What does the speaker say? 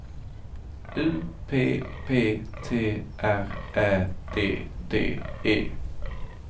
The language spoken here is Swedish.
U P P T R Ä D D E